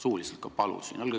Palusin ka suuliselt.